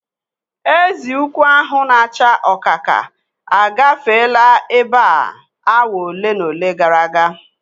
Ezi ukwu ahu na acha ọkaka agafeela ebe a awa ole na ole gara aga